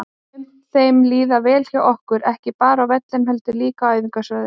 Mun þeim líða vel hjá okkur, ekki bara á vellinum heldur líka á æfingasvæðinu?